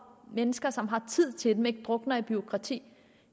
mennesker som har tid til dem og ikke drukner i bureaukrati